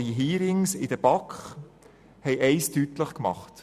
Die Hearings in der BAK haben etwas deutlich gemacht: